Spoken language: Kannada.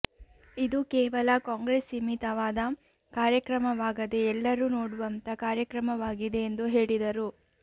ಇದು ಕೇವಲ ಕಾಂಗ್ರೆಸ್ ಸೀಮಿತವಾದ ಕಾರ್ಯಕ್ರಮವಾಗದೆ ಎಲ್ಲರೂ ನೋಡುವಂತ ಕಾರ್ಯಕ್ರಮವಾಗಿದೆ ಎಂದು ಹೇಳಿದರು